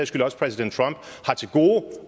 skyld også præsident trump har til gode